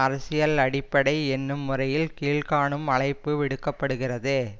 அரசியல் அடிப்படை என்னும் முறையில் கீழ் காணும் அழைப்பு விடுக்கப்படுகிறது